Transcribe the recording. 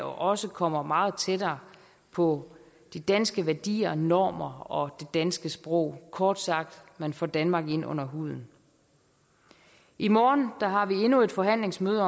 også kommer meget tættere på de danske værdier normer og det danske sprog kort sagt man får danmark ind under huden i morgen har vi endnu et forhandlingsmøde